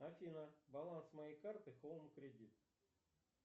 афина баланс моей карты хоум кредит